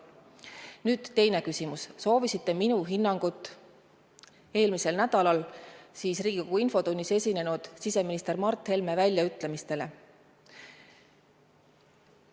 Nüüd teine küsimus: te soovisite minu hinnangut eelmisel nädalal Riigikogu infotunnis esinenud siseminister Mart Helme väljaütlemistele.